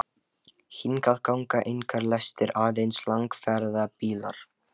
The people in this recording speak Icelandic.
Hingað ganga engar lestir, aðeins langferðabílar.